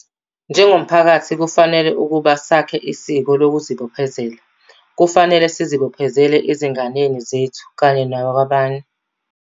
Njengomphakathi, kufanele ukuba sakhe isiko lokuzibophezela. Kufanele sizibophezele, ezinganeni zethu kanye nakwabanye.